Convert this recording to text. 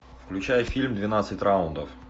включай фильм двенадцать раундов